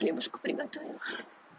хлебушка приготовила